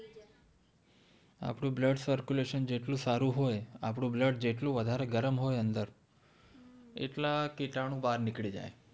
આપણું blood circulation જેટલું સારું હોય આપણું blood જેટલું ગરમ હોય અંદર એટલા કીટાણુ બહાર નીકળી જાય